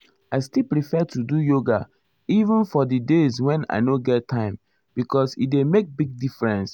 i still prefer to do yoga even for di days wen i nor get time because e dey make big difference. um